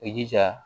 I jija